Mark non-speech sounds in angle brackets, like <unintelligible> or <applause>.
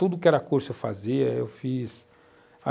Tudo que era curso eu fazia. Eu fiz <unintelligible>